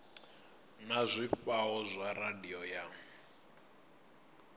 na zwifhao zwa radio ya